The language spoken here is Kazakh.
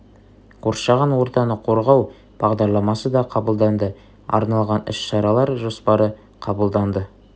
қоршаған ортаны қорғау бағдарламасы да қабылданды арналған іс-шаралар жоспары қабылданды